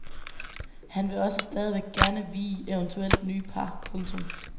Han vil også stadigvæk gerne vie eventuelt nye par. punktum